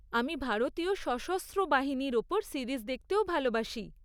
আমি ভারতীয় সশস্ত্র বাহিনীর ওপর সিরিজ দেখতেও ভালোবাসি।